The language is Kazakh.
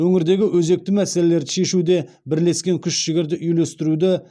өңірдегі өзекті мәселелерді шешуде бірлескен күш жігерді үйлестіруді